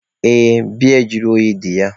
Ee, biya juru oyi dị ya.